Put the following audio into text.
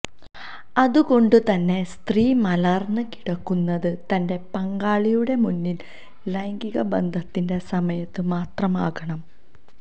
അതുകൊണ്ട് തന്നെ സ്ത്രീ മലര്ന്നു കിടക്കുന്നത് തന്റെ പങ്കാളിയുടെ മുന്നില് ലൈംഗിക ബന്ധത്തിന്റെ സമയത്ത് മാത്രമാകണം